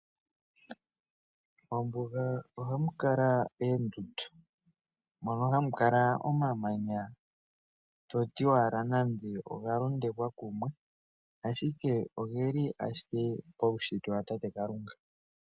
Mombuga ohamu kala oondundu. Mono hamu kala omamanya to ti owala nande oga londekwa kumwe, ashike oge li owala oge li paushitwe watate Kalunga.